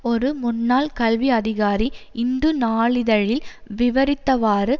ஒரு முன்னாள் கல்வி அதிகாரி இந்து நாளிதழில் விவரித்தவாறு